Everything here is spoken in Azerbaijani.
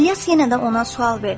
İlyas yenə də ona sual verdi: